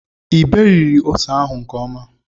i berighi ose ahu nke ọma